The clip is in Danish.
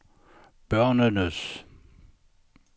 børnenes